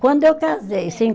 Quando eu casei, sim